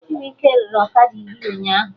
Chibuike rere ọkada iri ụnyaahụ